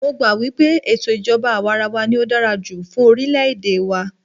Mó gbà wípé ètò ìjọbá àwàrawa ní o dára jùlọ fún orilẹ ède wa.